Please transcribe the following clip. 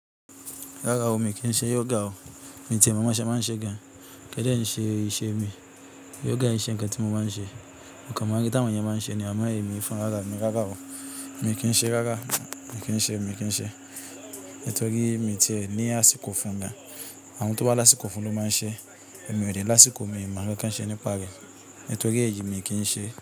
Rárá o, miì kí ń ṣe yoga o. Miì ti ẹ̀ mọ bọ́n ṣe máa ń ṣeé gan. Kìí dẹ̀ ń ṣe iṣẹ́ mi. Yoga ìí ṣe nǹkan tí mo máa ń ṣe. Mo kàn máa ń rí táwọn ènìyàn máa ń ṣe ni amọ́ èmi fún rárá mi. Rárá o, mi kì í ṣe rárá, mi kì í ṣe, mi kì í ṣe. Nítorí miì ti ẹ̀ ní àsìkò fú un gan. Àwọn tó bá lásìkò fú un ló máa ń ṣe. Mi ó dé lásìkò, mi mo nkán kán ṣe nípa rẹ̀. Nítorí èyí mi kì í ṣe.